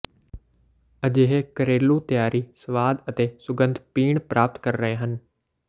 ਅਜਿਹੇ ਘਰੇਲੂ ਤਿਆਰੀ ਸਵਾਦ ਅਤੇ ਸੁਗੰਧ ਪੀਣ ਪ੍ਰਾਪਤ ਕਰ ਰਹੇ ਹਨ